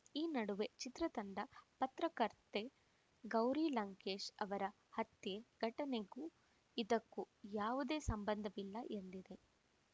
ಈ ನಡುವೆ ಚಿತ್ರತಂಡ ಪತ್ರಕರ್ತೆ ಗೌರಿ ಲಂಕೇಶ್‌ ಅವರ ಹತ್ಯೆ ಘಟನೆಗೂ ಇದಕ್ಕೂ ಯಾವುದೇ ಸಂಬಂಧವಿಲ್ಲ ಎಂದಿದೆ